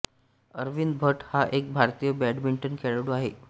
अरविंद भट हा एक भारतीय बॅडमिंटन खेळाडू आहे